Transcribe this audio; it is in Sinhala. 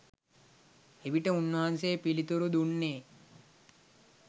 එවිට උන්වහන්සේ පිළිතුරු දුන්නේ